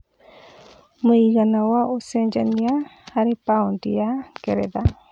mũigana wa ũcenjanĩa harĩ paũndi ya ngeretha